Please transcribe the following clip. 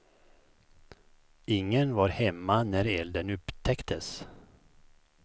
Ingen var hemma när elden upptäcktes.